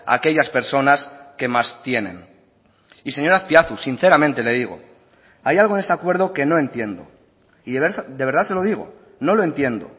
a aquellas personas que más tienen y señor azpiazu sinceramente le digo hay algo en este acuerdo que no entiendo y de verdad se lo digo no lo entiendo